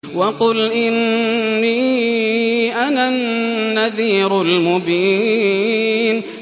وَقُلْ إِنِّي أَنَا النَّذِيرُ الْمُبِينُ